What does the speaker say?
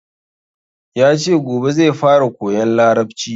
Yace gobe zai fara koyan larabci